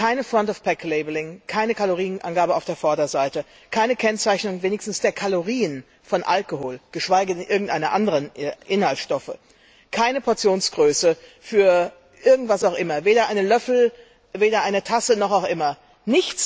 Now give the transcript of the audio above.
Kein Front of Pack Labelling, keine Kalorienangabe auf der Vorderseite, keine Kennzeichnung wenigstens der Kalorien von Alkohol, geschweige denn irgendeines anderen Inhaltsstoffes, keine Portionsgröße für was auch immer, weder ein Löffel noch eine Tasse oder anderes.